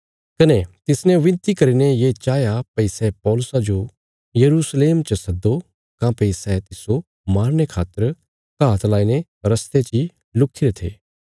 कने तिसने विनती करीने ये चाहया भई सै पौलुसा जो यरूशलेम च सद्दो काँह्भई सै तिस्सो मारने खातर घात लाईने रस्ते ची लुक्खीरे थे